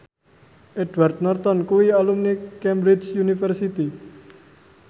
Edward Norton kuwi alumni Cambridge University